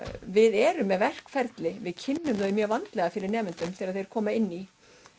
við erum með verkferli við kynnum þau mjög vandlega fyrir nemendum þegar þeir koma inn í